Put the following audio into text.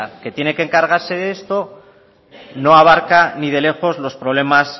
que tiene que encargarse de eso no abarca ni de lejos los problemas